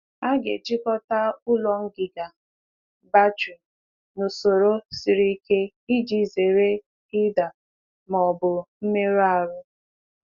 A ghaghị itinye akpa ígwè n’usoro ígwè n’usoro nwere nkwado um siri ike ka e um wee gbochie ịdaba um ma ọ bụ mmerụ.